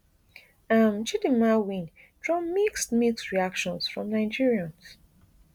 um chdimma win draw mixed mixed reactions from nigerians